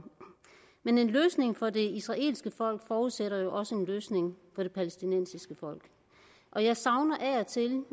men en løsning for det israelske folk forudsætter jo også en løsning for det palæstinensiske folk og jeg savner af og til